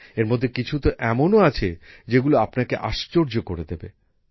এর মধ্যে কিছু তো এমনও আছে যেগুলো আপনাকে আশ্চর্য করে দেবে